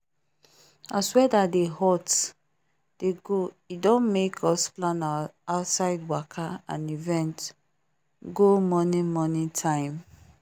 as weather dey hot dey go e don make us plan our outside waka and events go morning morning time